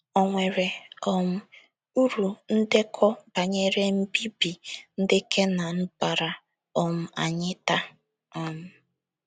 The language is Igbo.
O nwere um uru ndekọ banyere mbibi ndị Kenan baara um anyị taa? um